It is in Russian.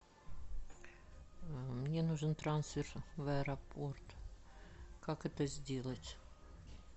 мне нужен трансфер в аэропорт как это сделать